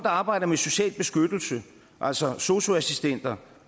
arbejder med social beskyttelse altså sosu assistenter